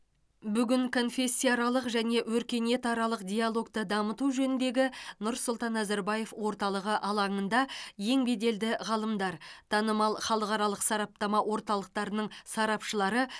бүгін конфессияаралық және өркениетаралық диалогты дамыту жөніндегі нұрсұлтан назарбаев орталығы алаңында ең беделді ғалымдар танымал халықаралық сараптама орталықтарының сарапшылары